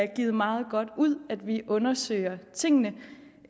givet meget godt ud at vi undersøger tingene